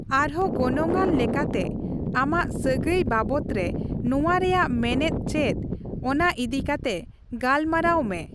ᱟᱨᱦᱚᱸ ᱜᱚᱱᱚᱝᱟᱱ ᱞᱮᱠᱟᱛᱮ, ᱟᱢᱟᱜ ᱥᱟᱹᱜᱟᱹᱭ ᱵᱟᱵᱚᱛ ᱨᱮ ᱱᱚᱣᱟ ᱨᱮᱭᱟᱜ ᱢᱮᱱᱮᱫ ᱪᱮᱫ ᱚᱱᱟ ᱤᱫᱤᱠᱟᱛᱮ ᱜᱟᱞᱢᱟᱨᱟᱣ ᱢᱮ ᱾